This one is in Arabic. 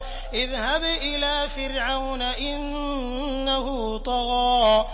اذْهَبْ إِلَىٰ فِرْعَوْنَ إِنَّهُ طَغَىٰ